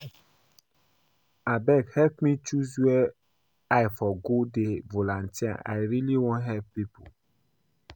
Abeg help me choose where I for go dey volunteer, I really wan help people